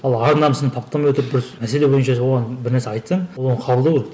ал ар намысын таптамай отырып бір мәселе бойынша оған бір нәрсе айтсаң ол оны қабылдау керек